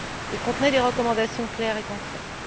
Il contenait des recommandations claires et concrètes.